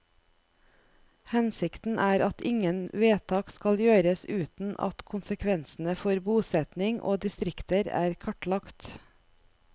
Hensikten er at ingen vedtak skal gjøres uten at konsekvensene for bosetning og distrikter er kartlagt.